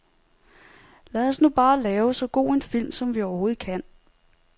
Lad os nu bare lave så god en film, som vi overhovedet kan.